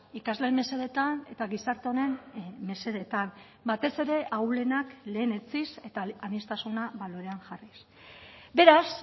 ikasleen mesedetan eta gizarte honen mesedetan batez ere ahulenak lehenetsiz eta aniztasuna balorean jarriz beraz